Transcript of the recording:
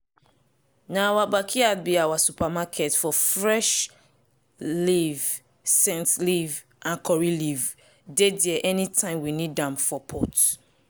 na our backyard be our supermarket for fresh leaf scent leaf and curry leaf dey there any time we need am for pot.